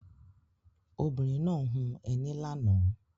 Obìnrin náà hun ẹní lánàá.